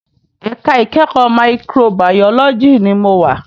Èká ikèékò máìkróbàyólòjí ni mó wá